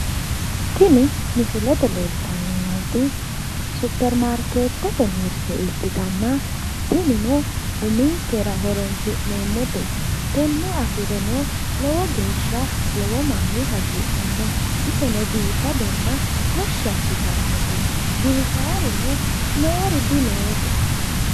Tini misilete leelitanni noot supermaikeetete mirite ikkitana tinino uminikera horonisi'neemote tenne afireno lowo geesha lowo manni hagiidhano iseno biifadonna tashi assitanote giwisaarino noori dinoosete